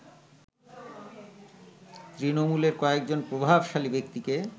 তৃণমূলের কয়েকজন প্রভাবশালী ব্যক্তিকে